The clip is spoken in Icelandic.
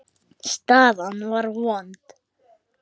Staðan var vond.